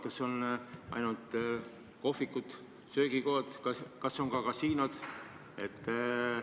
Kas see on nii ainult kohvikutes, söögikohtades, või kas see on nii ka kasiinodes?